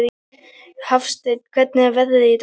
Hafsteinn, hvernig er veðrið í dag?